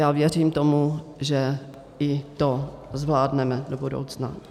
Já věřím tomu, že i to zvládneme do budoucna.